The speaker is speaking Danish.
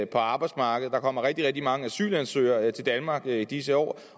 på arbejdsmarkedet der kommer rigtig rigtig mange asylansøgere til danmark i disse år